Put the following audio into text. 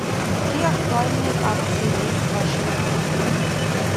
какие актуальные акции есть в вашем отеле